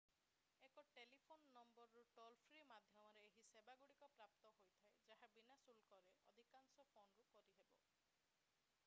ଏକ ଟେଲିଫୋନ ନମ୍ବରରୁ ଟୋଲ-ଫ୍ରୀ ମାଧ୍ୟମରେ ଏହି ସେବାଗୁଡ଼ିକ ପ୍ରାପ୍ତ ହୋଇଥାଏ ଯାହା ବିନା ଶୁଳ୍କରେ ଅଧିକାଂଶ ଫୋନରୁ କରିହେବ